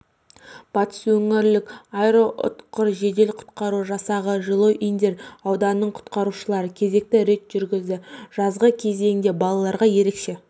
батыс өңірлік аэроұтқыр жедел-құтқару жасағы жылой индер ауданының құтқарушылары кезекті рейд жүргізді жазғы кезеңде балаларға ерекше